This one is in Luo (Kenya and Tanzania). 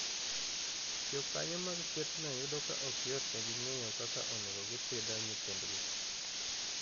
Jokanyo mag kwethno yudo ka ok yotnegi ng'eyo kaka onego gipidho nyithindgi.